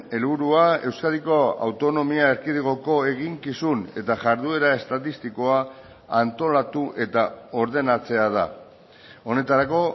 helburua euskadiko autonomia erkidegoko eginkizun eta jarduera estatistikoa antolatu eta ordenatzea da honetarako